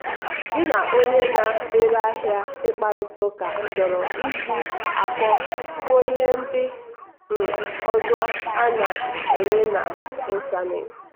gị na onye na-ere ahịa ịkparịta ụka chọrọ iji akọ kwuo ihe ndị um ọzọ a na-enye n'ịntanetị.